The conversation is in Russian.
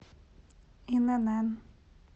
инн